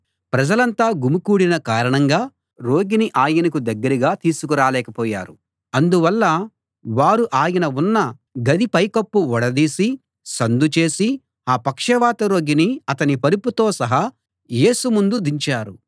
ప్రజలంతా గుమికూడిన కారణంగా రోగిని ఆయనకు దగ్గరగా తీసుకురాలేకపోయారు అందువల్ల వారు ఆయన ఉన్న గది పైకప్పు ఊడదీసి సందుచేసి ఆ పక్షవాత రోగిని అతని పరుపుతో సహా యేసు ముందు దించారు